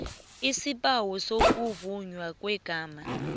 isibawo sokuvunywa kwegama